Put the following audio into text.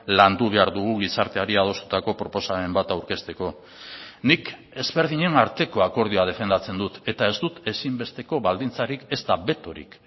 landu behar dugu gizarteari adostutako proposamen bat aurkezteko nik ezberdinen arteko akordioa defendatzen dut eta ez dut ezinbesteko baldintzarik ezta betorik